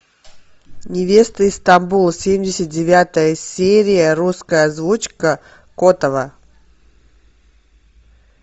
невеста из стамбула семьдесят девятая серия русская озвучка котова